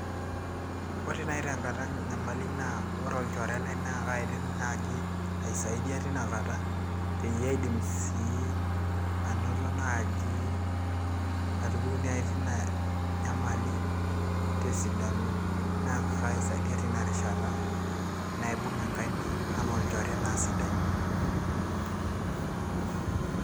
ore naaji tenkata enyamali naa ore olchore lai naa kaidim naaji aisaidia tinakata peyie aidim sii anoto naaji atupuku naaji tina nyamali tesidano naa kaisaidia tinarishata naibung enkaina anaa olchore naa sidai.